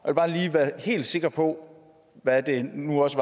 være helt sikker på at jeg nu også